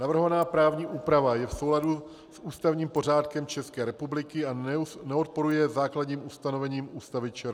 Navrhovaná právní úprava je v souladu s ústavním pořádkem České republiky a neodporuje základním ustanovením Ústavy ČR.